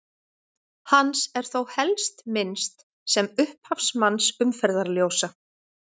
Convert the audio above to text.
Hans er þó helst minnst sem upphafsmanns umferðarljósa.